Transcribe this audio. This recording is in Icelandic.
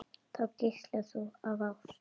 Þar geislar þú af ást.